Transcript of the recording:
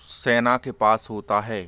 सेना के पास होता है।